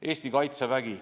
Eesti Kaitsevägi.